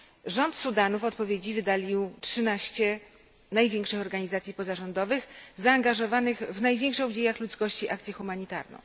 Rząd Sudanu w odpowiedzi wydalił trzynaście największych organizacji pozarządowych zaangażowanych w największą w dziejach ludzkości akcję humanitarną.